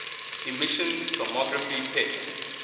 emission tomography pet